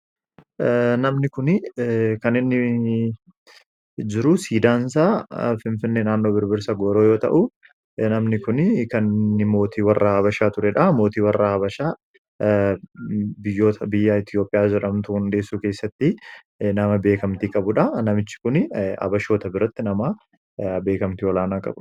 namni kun kan inni jiru siidaan isaa finfinnee naannoo birbirsa gooroo yoo ta'u namni kun kan mootii warra abashaa tureedha. mootii warra abashaa biyyoota biyya Itoophiyaa jidhamtu hundeessuu keessatti nama beekamtii qabudha. namichi kun abashoota biratti nama beekamtii olaanaa qabudha.